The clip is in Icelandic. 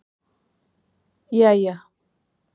jæja